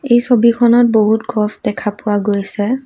এই ছবিখনত বহুত গছ দেখা পোৱা গৈছে।